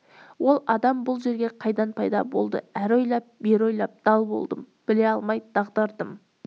ол адам бұл жерде қайдан пайда болды әрі ойлап бері ойлап дал болдым біле алмай дағдардым